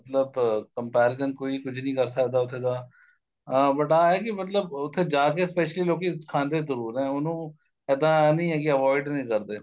ਮਤਲਬ comparison ਕੋਈ ਕੁੱਝ ਨੀਂ ਕਰ ਸਕਦਾ ਉੱਥੇ ਦਾ ਅਹ but ਆ ਏ ਕੀ ਮਤਲਬ ਉਥੇ ਜਾ ਕੇ specially ਲੋਕੀ ਖਾਂਦੇ ਜਰੂਰ ਏ ਉਹਨੂੰ ਇੱਦਾਂ ਨੀਂ ਏ ਕੀ avoid ਨੀਂ ਕਰਦੇ